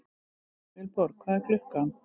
Vilborg, hvað er klukkan?